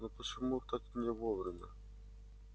но почему так не вовремя